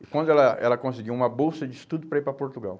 E quando ela, ela, conseguiu uma bolsa de estudo para ir para Portugal.